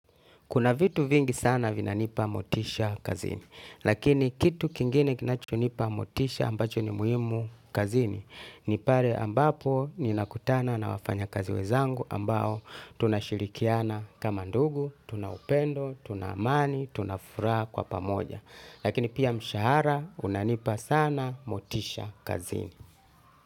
Kuna vitu vingi sana vinanipa motisha kazini. Lakini kitu kingine kinachonipa motisha ambacho ni muhimu kazini. Ni pale ambapo ninakutana na wafanyakazi wenzangu ambao tunashirikiana kama ndugu, tuna upendo, tuna amani, tuna furaha kwa pamoja. Lakini pia mshahara unanipa sana motisha kazini.